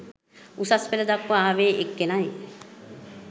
උසස් පෙළ දක්වා ආවේ එක්කෙනයි